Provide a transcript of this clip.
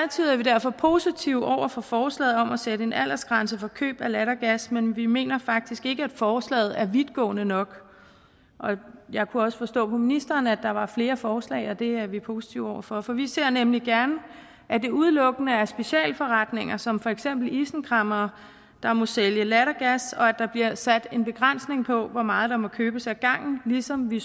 vi derfor positive over for forslaget om at sætte en aldersgrænse for køb af lattergas men vi mener faktisk ikke at forslaget er vidtgående nok jeg kunne også forstå på ministeren at der var flere forslag og det er vi positive over for for vi ser nemlig gerne at det udelukkende er specialforretninger som for eksempel isenkræmmere der må sælge lattergas og at der bliver sat en begrænsning af hvor meget der må købes ad gangen ligesom vi